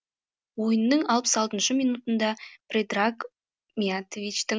ойынның алпыс алтыншы минутында предраг миятовичтің